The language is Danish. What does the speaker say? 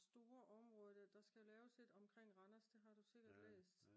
store områder der skal laves et omkring Randers det har du sikkert læst